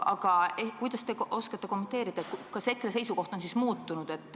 Aga kuidas te oskate kommenteerida, kas EKRE seisukoht on siis muutunud?